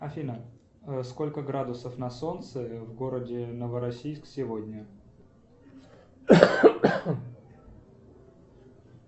афина сколько градусов на солнце в городе новороссийск сегодня